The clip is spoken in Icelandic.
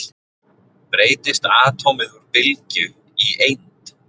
Breytist atómið úr bylgju í eind?